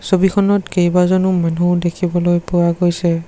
ছবিখনত কেইবাজনো মানুহ দেখিবলৈ পোৱা গৈছে।